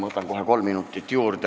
Ma võtan kohe kolm minutit juurde.